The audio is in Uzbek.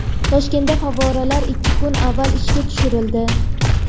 Toshkentda favvoralar ikki kun avval ishga tushirildi.